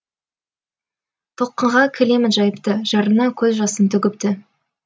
толқынға кілемін жайыпты жарына көз жасын төгіпті